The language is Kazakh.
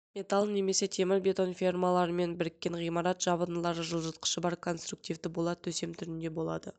металл немесе темірбетон фермалармен біріккен ғимарат жабындылары жылытқышы бар конструктивты болат төсем түрінде болады